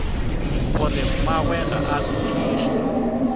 gore mmagwe ga a kwešiše